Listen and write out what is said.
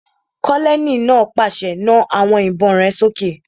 Kólóníẹ̀ náà pàṣẹ, "Na àwọn ìbọn rẹ sókè!"